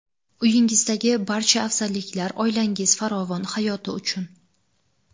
Uyingizdagi barcha afzalliklar oilangiz farovon hayoti uchun!.